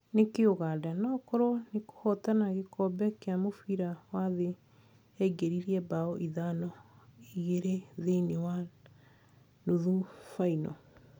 Nĩkĩĩ Ũganda noĩkorwo nĩkũhotana gĩkombe kĩa mũbira wa thĩ yaingĩririe mbao ithano, igĩrĩ thĩiniĩ wa nuthu baino.